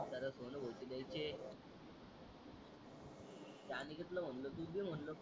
हो ते दयाचे त्या अनिकेतल म्हणल तूच दे म्हणल